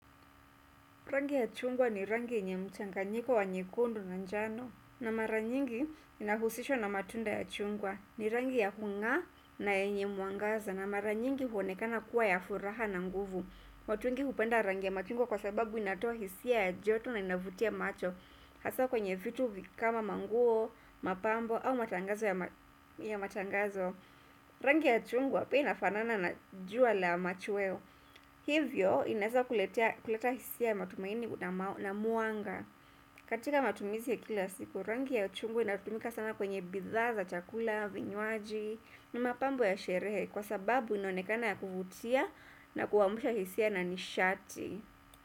Rangi ya chungwa ni rangi yenye mchanganyiko wa nyekundu na njano na mara nyingi inahusishwa na matunda ya chungwa ni rangi ya hungaa na yenye mwangaza na mara nyingi huonekana kuwa ya furaha na nguvu watu wengi hupenda rangi ya machungwa kwa sababu inatoa hisia ya joto na inavutia macho hasa kwenye vitu kama manguo, mapambo au matangazo ya matangazo rangi ya chungwa pia inafanana na jua la machweo hivyo, inaeza kuleta hisia matumaini na mwanga katika matumizi ya kila siku, rangi ya chungwa inatumika sama kwenye bidhaa za, chakula, vinywaji ni mapambo ya sherehe kwa sababu inaonekana ya kuvutia na kuamsha hisia na nishati.